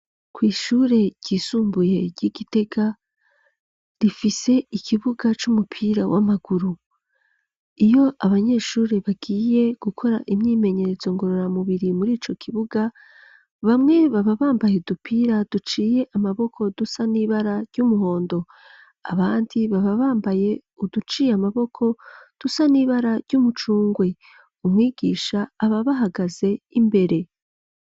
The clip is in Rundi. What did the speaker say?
Kw'ishure ryisumbuye ry'i Gitega rifise ikibuga c'umupira w'amaguru. Iyo abanyeshure bagiye gukora imyimenyeretzo ngororamubiri muri ico kibuga bamwe baba bambaye udupira duciye amaboko dusa n'ibara ry'umuhondo, abandi baba bambaye uduciye amaboko dusa n'ibara ry'umucungwe, umwigisha aba abahagaze imbere